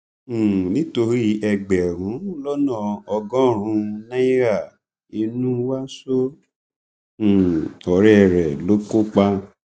um nítorí ẹgbẹrún lọnà ọgọrùnún náírà inúwá so um ọrẹ rẹ lóko pa